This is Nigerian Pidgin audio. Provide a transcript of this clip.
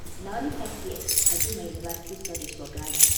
Na only five years I do my university studies for Ghana.